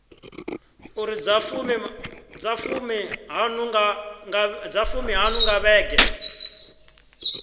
iri dza fumiṱhanu nga vhege